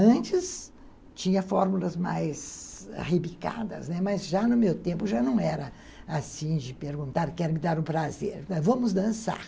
Antes tinha fórmulas mais rebicadas, né, mas já no meu tempo já não era assim de perguntar, quero me dar um prazer, vamos dançar.